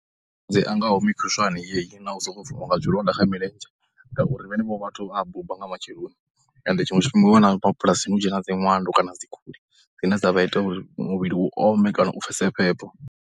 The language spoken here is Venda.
Malwadze a ngaho mikhushwane yeyi na u sokou bviwa nga zwilonda kha milenzhe ngauri vhenevho vhathu vha ya buba nga matsheloni ende tshiṅwe tshifhinga u wana mabulasini hu tshe na dzi ṅwando kana dzi khuli dzine dza vha ita muvhili u ome kana u pfhese phepho.